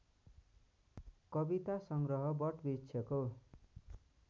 कविता सङ्ग्रह वटवृक्षको